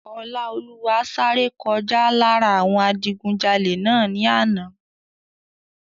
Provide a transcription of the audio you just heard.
Ọláolúwa sáré kọjá lára àwọn adigunjalè náà ní àná